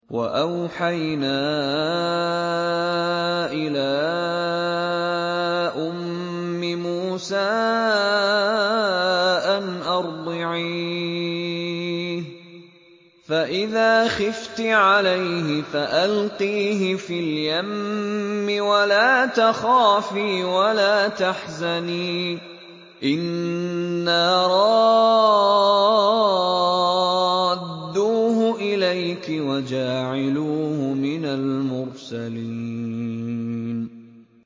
وَأَوْحَيْنَا إِلَىٰ أُمِّ مُوسَىٰ أَنْ أَرْضِعِيهِ ۖ فَإِذَا خِفْتِ عَلَيْهِ فَأَلْقِيهِ فِي الْيَمِّ وَلَا تَخَافِي وَلَا تَحْزَنِي ۖ إِنَّا رَادُّوهُ إِلَيْكِ وَجَاعِلُوهُ مِنَ الْمُرْسَلِينَ